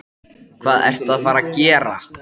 Hvað ertu að fara að gera?